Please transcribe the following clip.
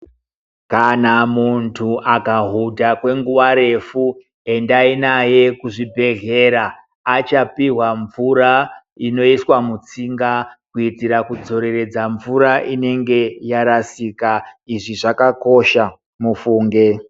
Kana muntu akahuta kwenguva refu, endayi naye kuzvibhedhlera. Achapiwa mvura inoyiswa mutsinga kuitira kudzoreredza mvura inenge yarasika. Izvi zvakakosha mufunge.